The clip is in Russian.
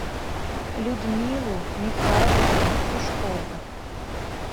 людмилу михайловну сушкову